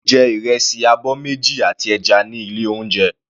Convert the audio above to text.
Ó jẹ ìrẹsì abọ́ méjì àti ẹja ní ilé oúnjẹ.